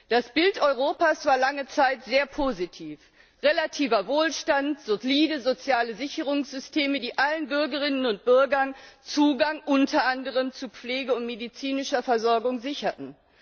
Das Bild Europas war lange Zeit sehr positiv relativer Wohlstand, solide soziale Sicherungssysteme, die allen Bürgerinnen und Bürgern Zugang unter anderem zu Pflege und medizinischer Versorgung sicherten.